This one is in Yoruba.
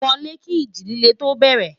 wolè kì iji ilé tó bere